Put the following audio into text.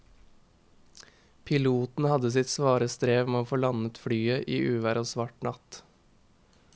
Piloten hadde sitt svare strev med å få landet flyet i uvær og svart natt.